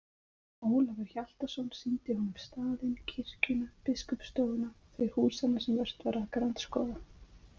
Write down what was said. Ólafur Hjaltason sýndi honum staðinn, kirkjuna, biskupsstofuna, þau húsanna sem vert var að grandskoða.